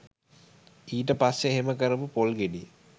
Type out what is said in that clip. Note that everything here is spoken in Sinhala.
ඊට පස්සේ එහෙම කරපු පොල් ගෙඩිය